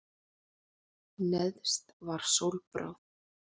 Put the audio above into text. Neðst var sólbráð.